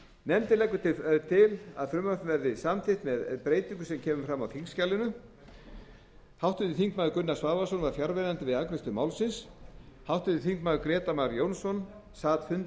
leggur til að frumvarpið verði samþykkt með breytingu sem kemur fram í þingskjalinu háttvirtir þingmenn gunnar svavarsson var fjarverandi við afgreiðslu málsins háttvirtir þingmenn grétar mar jónsson sat fund